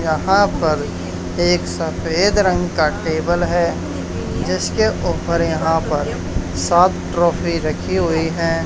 यहां पर एक सफेद रंग का टेबल है जिसके ऊपर यहां पर सात ट्रॉफी रखी हुई है।